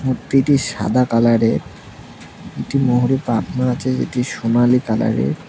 মূর্তিটি সাদা কালারের একটি ময়ূরের পাখনা আচে যেটি সোনালী কালারের।